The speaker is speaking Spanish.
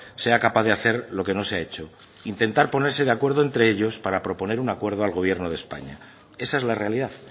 sea capaz de hacer lo que no se ha hecho intentar ponerse de acuerdo entre ellos para proponer un acuerdo al gobierno de españa esa es la realidad